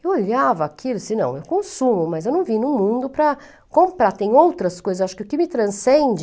Eu olhava aquilo e disse, não, eu consumo, mas eu não vim no mundo para comprar, tem outras coisas, acho que o que me transcende...